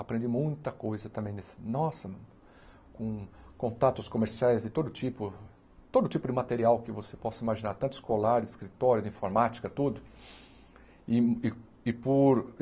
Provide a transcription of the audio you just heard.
Aprendi muita coisa também nesse... Nossa, com contatos comerciais e todo tipo, todo tipo de material que você possa imaginar, tanto escolar, escritório, de informática, tudo. E e e